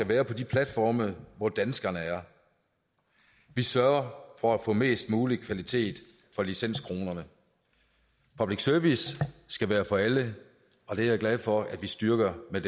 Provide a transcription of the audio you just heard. være på de platforme hvor danskerne er vi sørger for at få mest mulig kvalitet for licenskronerne public service skal være for alle og det er jeg glad for at vi styrker med